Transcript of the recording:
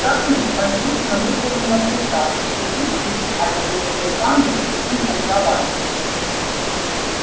скарлетт послушно выполнила приказ вцепившись обеими руками в спинку кровати